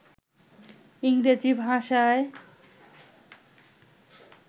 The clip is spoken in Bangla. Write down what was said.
ইংরেজি ভাষায়